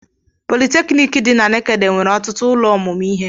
Politekniki dị na Nekede nwere ọtụtụ ụlọ ọmụmụ ihe.